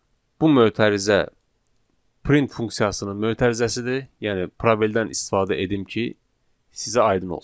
Bu mötərizə print funksiyasının mötərizəsidir, yəni probeldən istifadə edim ki, sizə aydın olsun.